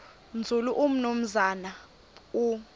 nzulu umnumzana u